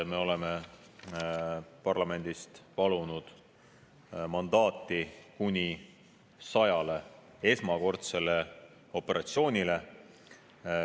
Me oleme parlamendist palunud mandaati kuni 100 esmakordsel operatsioonil.